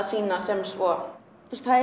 sýna sem svo það